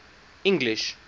english